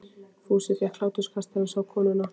Fúsi fékk hláturskast þegar hann sá konurnar.